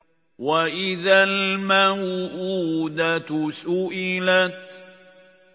وَإِذَا الْمَوْءُودَةُ سُئِلَتْ